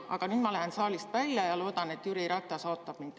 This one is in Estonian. Aga nüüd ma lähen saalist välja ja loodan, et Jüri Ratas ootab mind.